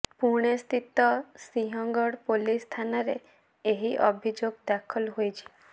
ପୁଣେ ସ୍ଥିତ ସିଂହଗଡ଼ ପୋଲିସ ଥାନାରେ ଏହି ଅଭିଯୋଗ ଦାଖଲ ହୋଇଛି